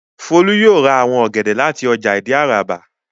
Folú yóò ra àwọn ọ̀gẹ̀dẹ̀ láti ọjà Ìdí-Àràbà.